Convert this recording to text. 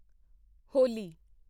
ਹੋਲੀ